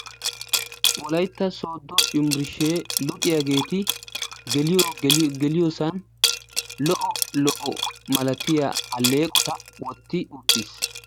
Wolaytta Sooddo Yunburshshe luxiyaageeti geliyoosan lo''o lo''o malatiyaa alleeqota wotti utiis.